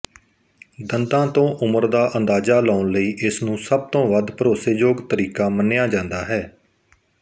ਦੰਦਾਂ ਤੋਂ ਉਮਰ ਦਾ ਅੰਦਾਜ਼ਾ ਲਾਉਣ ਲਈ ਇਸਨੂੰ ਸਬਤੋਂ ਵੱਧ ਭਰੋਸੇਯੋਗ ਤਰੀਕਾ ਮੰਨਿਆ ਜਾਂਦਾ ਹੈ